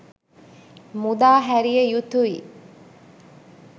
මුදා හැරිය යුතුයි